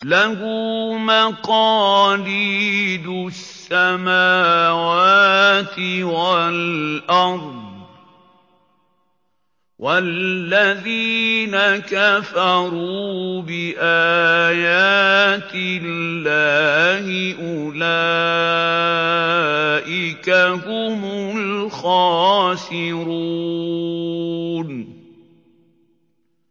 لَّهُ مَقَالِيدُ السَّمَاوَاتِ وَالْأَرْضِ ۗ وَالَّذِينَ كَفَرُوا بِآيَاتِ اللَّهِ أُولَٰئِكَ هُمُ الْخَاسِرُونَ